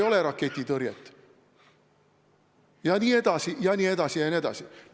Jne, jne, jne.